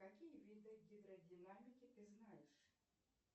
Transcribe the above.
какие виды гидродинамики ты знаешь